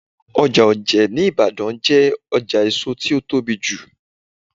Ọjà Oje ní Ibadan jẹ́ ọjà èso tí ó tóbi jù.